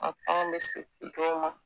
dɔw ma